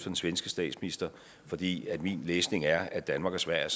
den svenske statsminister fordi min læsning er at danmark og sverige